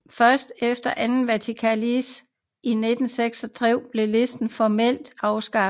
Først efter Andet Vatikankoncil i 1966 blev listen formelt afskaffet